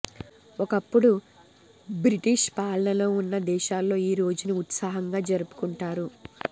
ఒకప్పుడు బ్రిటీష్ పాలనలో ఉన్న దేశాల్లో ఈ రోజును ఉత్సాహంగా జరుపుకుంటారు